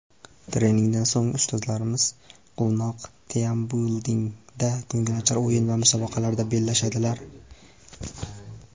Treningdan so‘ng ustozlarimiz quvnoq 'Teambuilding‘da ko‘ngilochar o‘yin va musobaqalarda bellashdilar.